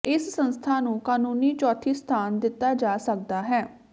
ਇਸ ਸੰਸਥਾ ਨੂੰ ਕਾਨੂੰਨੀ ਚੌਥੀ ਸਥਾਨ ਦਿੱਤਾ ਜਾ ਸਕਦਾ ਹੈ